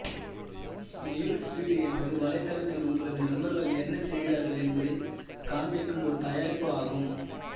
news feed என்பது வலைத்தளத்தில் உங்களது நண்பர்கள் என்ன செய்கிறார்கள் என்பதைக் காண்பிக்கும் ஒரு தயாரிப்பு ஆகும்